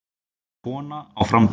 Kona á framabraut.